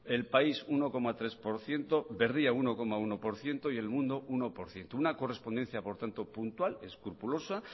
el país uno coma tres por ciento berria uno coma uno por ciento y el mundo uno por ciento una correspondencia por tanto puntual escrupulosa